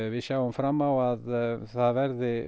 við sjáum fram á að það verði